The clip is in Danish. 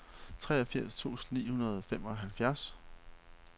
treogfirs tusind ni hundrede og femoghalvfjerds